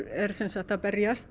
er sem sagt að berjast